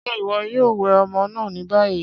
Ṣé iwọ yòò wẹ ọmọ náà ni bayí?